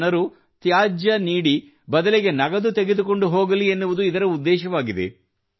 ಜನರು ತ್ಯಾಜ್ಯ ನೀಡಿ ಬದಲಿಗೆ ನಗದು ತೆಗೆದುಕೊಂಡು ಹೋಗಲಿ ಎನ್ನುವುದು ಇದರ ಉದ್ದೇಶವಾಗಿದೆ